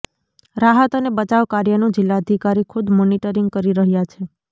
રાહત અને બચાવકાર્યનુ જિલ્લાધિકારી ખુદ મોનિટરિંગ કરી રહ્યા છે